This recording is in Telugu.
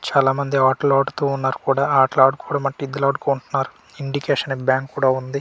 చాలా మంది ఆట్లాడుతూ ఉన్నారు కుడా ఆట్ల ఆడుకోవటడం అంటే ఇద్దులాడుకుంటున్నారు ఇండికేషన్ అనే బ్యాంక్ కుడా ఉంది.